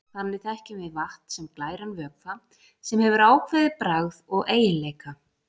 Þannig þekkjum við vatn sem glæran vökva, sem hefur ákveðið bragð og eiginleika.